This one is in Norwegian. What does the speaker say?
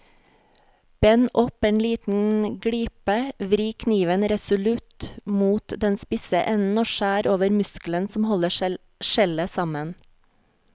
Bend opp en liten glipe, vri kniven resolutt mot den spisse enden og skjær over muskelen som holder skjellet sammen.